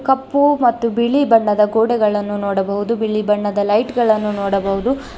ಕಪ್ಪು ಮತ್ತು ಬಿಳಿ ಬಣ್ಣದ ಗೋಡೆಗಳನ್ನು ನೋಡಬಹುದು ಬಿಳಿ ಬಣ್ಣದ ಲೈಟ್ ಗಳನ್ನು ನೋಡಬಹುದು.